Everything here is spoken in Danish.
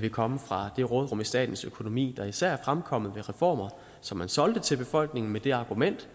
vil komme fra det råderum i statens økonomi der især er fremkommet ved reformer som man solgte til befolkningen med det argument